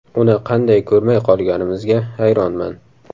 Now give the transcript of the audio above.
Uni qanday ko‘rmay qolganimizga hayronman.